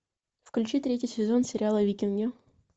включи третий сезон сериала викинги